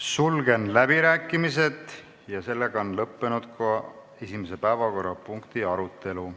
Sulgen läbirääkimised ja sellega on lõppenud ka esimese päevakorrapunkti arutelu.